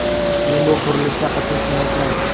Men bu qurilishda qatnashmayapman.